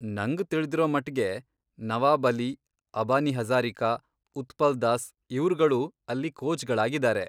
ನಂಗ್ ತಿಳ್ದಿರೋಮಟ್ಗೆ ನವಾಬ್ ಅಲಿ, ಅಬಾನಿ ಹಜಾರಿಕಾ, ಉತ್ಪಲ್ ದಾಸ್ ಇವ್ರ್ಗಳು ಅಲ್ಲಿ ಕೋಚ್ಗಳಾಗಿದಾರೆ.